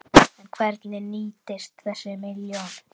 En hvernig nýtist þessi milljón?